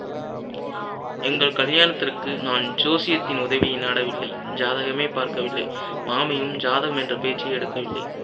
எங்கள் கல்யானத்துக்கு நான் ஜோசியத்தின் உதவியை நாடவில்லை ஜாதகமே பார்க்கவில்லை மாமியும் ஜாதகம் என்ற பேச்சையே எடுக்கவில்லை